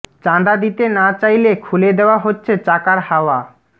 চাঁদা দিতে না চাইলে খুলে দেওয়া হচ্ছে চাকার হাওয়া